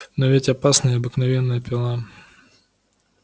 но ведь опасна и обыкновенная пила